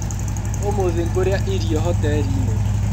ũmũthĩ ngũrĩa irio hoteriinĩ.